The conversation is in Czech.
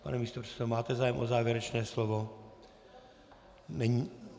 Pane místopředsedo, máte zájem o závěrečné slovo?